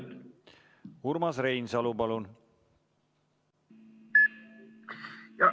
Urmas Reinsalu, palun!